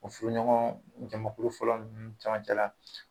U furuɲɔgɔn jamakulu fɔlɔ ninnu cɛmancɛ la